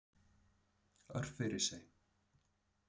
Örfirisey